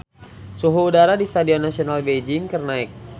Suhu udara di Stadion Nasional Beijing keur naek